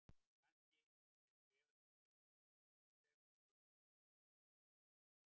Kannski þykja bréfaskipti okkar hnýsileg með hliðsjón af því sem á undan var gengið.